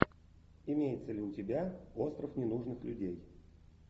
имеется ли у тебя остров ненужных людей